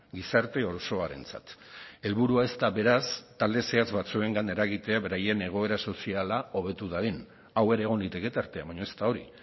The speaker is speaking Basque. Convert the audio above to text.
gizarte osoarentzat helburua ez da beraz talde zehatz batzuengan eragitea beraien egoera soziala hobetu dadin hau egon liteke tartean baina ez da hori